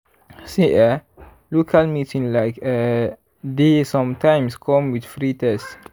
see eh local meeting like eeh dey sometimes come with free test.